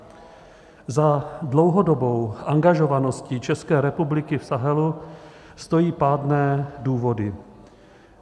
Za dlouhodobou angažovaností České republiky v Sahelu stojí pádné důvody.